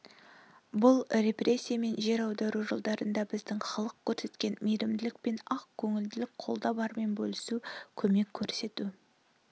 бұл репрессия мен жер аудару жылдарында біздің халық көрсеткен мейрімділік пен ақ көңілдік қолда бармен бөлісу көмек көрсету